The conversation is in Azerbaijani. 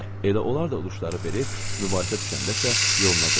Elə onlar da udşları verir, mübahisə düşəndə isə yoluna qoyurdular.